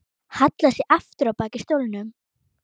Hallar sér aftur á bak í stólnum.